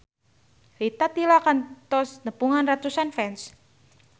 Rita Tila kantos nepungan ratusan fans